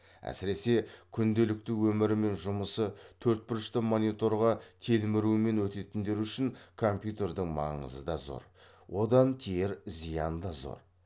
әсіресе күнделікті өмірі мен жұмысы төртбұрышты мониторға телмірумен өтетіндер үшін компьютердің маңызы да зор одан тиер зиян да зор